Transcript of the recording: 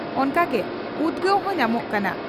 ᱚᱱᱠᱟᱛᱮ ᱩᱫᱽᱜᱟᱹᱣ ᱦᱚᱸ ᱧᱟᱢᱚᱜ ᱠᱟᱱᱟ ᱾